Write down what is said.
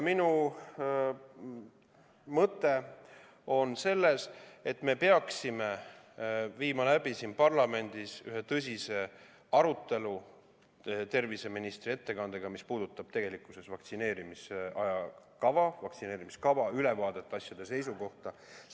Minu mõte on see, et me peaksime siin parlamendis läbi viima ühe tõsise arutelu ja kuulama ära terviseministri aruande, mis puudutab vaktsineerimise ajakava või üldse vaktsineerimiskava ja annab ülevaate asjade seisust.